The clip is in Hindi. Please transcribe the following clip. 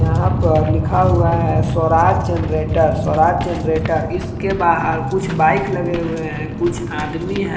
यहां पर लिखा हुआ है स्वराज जनरेटर स्वराज जनरेटर इसके बाहर कुछ बाइक लगे हुए है कुछ आदमी हैं।